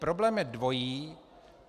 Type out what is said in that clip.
Problém je dvojí.